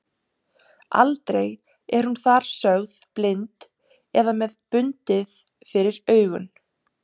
Aldrei er hún þar sögð blind eða með bundið fyrir augun.